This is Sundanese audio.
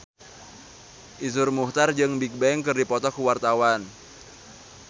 Iszur Muchtar jeung Bigbang keur dipoto ku wartawan